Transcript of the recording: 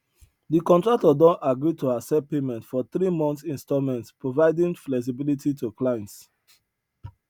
de contractor don agree to accept payment for three months installments providing flexibility to clients